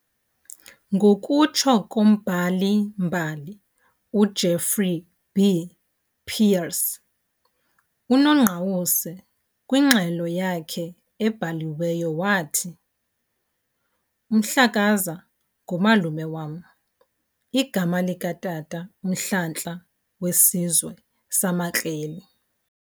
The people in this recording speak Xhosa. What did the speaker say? Ngokutsho kombhali-mbali uJeffrey B. Peires, uNongqawuse kwingxelo yakhe ebhaliweyo wathi "UMhlakaza ngumalume wam. igama likatata uMhlanhla wesizwe samaKreli.